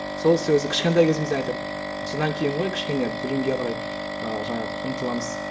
сол сөзі кішкентай кезімізден айтады содан кейін ғой кішкене білімге қарай ы жаңағы ұмтыламыз